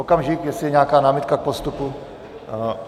Okamžik, jestli je nějaká námitka k postupu?